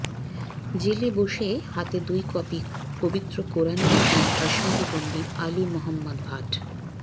জেলে বসে হাতে দুই কপি পবিত্র কোরআন লিখলেন কাশ্মিরি বন্দি আলি মোহাম্মদ ভাট